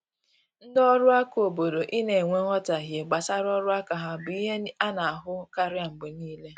Ndị ọrụ aka obodo I na enwe nghotahie gbasara ọrụ aka ha bụ ihe ana ahụ karịa mgbe niile